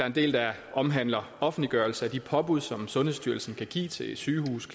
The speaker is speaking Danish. en del der omhandler offentliggørelse af de påbud som sundhedsstyrelsen kan give til et sygehus